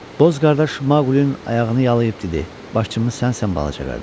Boz qardaş Maqlinin ayağını yalıyıb dedi: Başçımız sənsən balaca qardaş.